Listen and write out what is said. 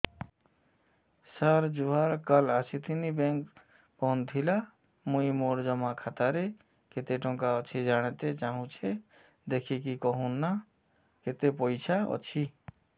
ସାର ଜୁହାର ସାର କାଲ ଆସିଥିନି ବେଙ୍କ ବନ୍ଦ ଥିଲା ମୁଇଁ ମୋର ଜମା ଖାତାରେ କେତେ ଟଙ୍କା ଅଛି ଜାଣତେ ଚାହୁଁଛେ ଦେଖିକି କହୁନ ନା କେତ ପଇସା ଅଛି